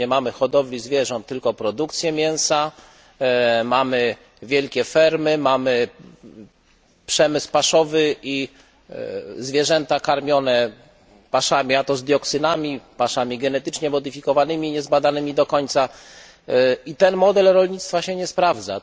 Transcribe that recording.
Już nie mamy hodowli zwierząt, tylko produkcję mięsa, mamy wielkie fermy, mamy przemysł paszowy i zwierzęta karmione paszami, i to z dioksynami, paszami genetycznie modyfikowanymi, niezbadanymi do końca, i ten model rolnictwa się nie sprawdza.